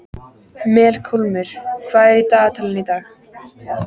Melkólmur, hvað er í dagatalinu í dag?